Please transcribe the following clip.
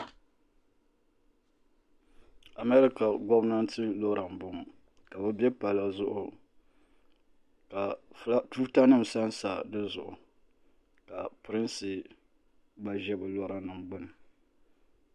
America gomnanti lora m bɔŋɔ ka be bɛ palli zuɣu ka tuuta nim san sa di zuɣu ka prinsi gba ʒe bɛ lora nim gbuni.